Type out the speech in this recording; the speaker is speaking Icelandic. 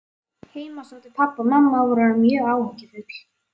Heima sátu pabbi og mamma og voru orðin mjög áhyggjufull.